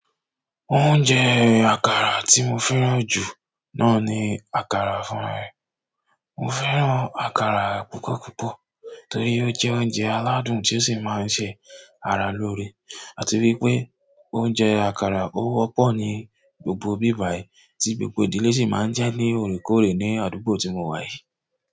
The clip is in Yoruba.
Oúnjẹ àkàrà tí mo fẹ́ràn jù náà ni àkàrà fún. Mo fẹ́ràn àkàrà púpọ̀púpọ̀ torí ó jẹ́ oúnjẹ aládùn tí ó sì máa ń ṣe ara lóore àti wípé oúnjẹ àkàrà ó wọ́pọ̀ ní gbogbo bíbàyè tí gbogbo ìdílé sì máa ń jẹ́ ní òrékòóre ní àdúgbò tí mo wà yìí.